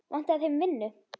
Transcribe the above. Vantaði þeim vinnu?